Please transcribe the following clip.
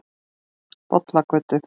Bollagötu